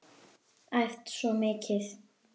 Æft svo mikið.